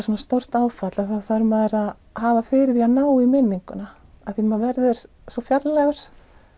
svona stórt áfall þá þarf maður að hafa fyrir því að ná í minninguna af því að maður verður svo fjarlægur